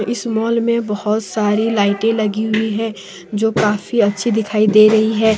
इस मॉल में बहुत सारी लाइटे लगी हुई हैं जो काफी अच्छी दिखाई दे रही हैं।